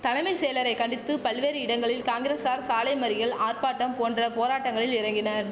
தலமை செயலரை கண்டித்து பல்வேறு இடங்களில் காங்கிரசார் சாலைமறியல் ஆர்ப்பாட்டம் போன்ற போராட்டங்களில் இறங்கினர்